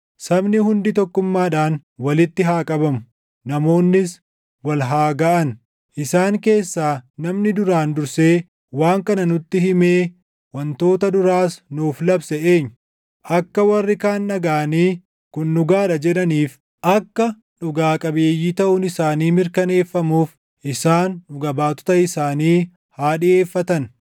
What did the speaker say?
Sabni hundi tokkummaadhaan walitti haa qabamu; namoonnis wal haa gaʼan. Isaan keessaa namni duraan dursee waan kana nutti himee wantoota duraas nuuf labse eenyu? Akka warri kaan dhagaʼanii, “Kun dhugaa dha” jedhaniif, akka dhugaa qabeeyyii taʼuun isaanii mirkaneeffamuuf isaan dhuga baatota isaanii haa dhiʼeeffatan.